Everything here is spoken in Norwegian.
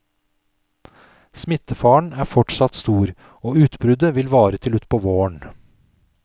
Smittefaren er fortsatt stor, og utbruddet vil vare til utpå våren.